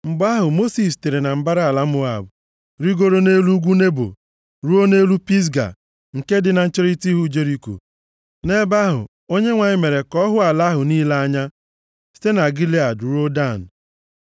Mgbe ahụ, Mosis sitere na mbara ala Moab rigoruo nʼelu nʼugwu Nebo, ruo nʼelu Pisga, nke dị na ncherita ihu Jeriko. Nʼebe ahụ Onyenwe anyị mere ka ọ hụ ala ahụ niile anya site na Gilead ruo Dan;